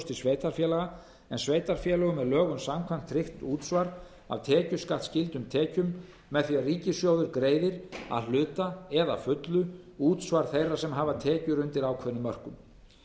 til sveitarfélaga en sveitarfélögum er lögum samkvæmt tryggt útsvar af tekjuskattsskyldum tekjum með því að ríkissjóður greiðir að hluta eða að fullu útsvar þeirra sem hafa tekjur undir ákveðnum mörkum